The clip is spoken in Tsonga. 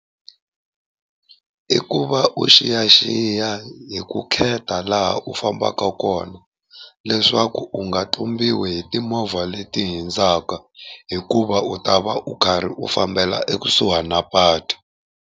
I ku va u xiyaxiya hi ku kheta laha u fambaka kona leswaku u nga tlumbiwa hi timovha leti hundzaka, hikuva u ta va u karhi u fambela ekusuhani na patu.